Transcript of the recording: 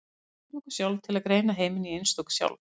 Við blekkjum okkur sjálf til að greina heiminn í einstök sjálf.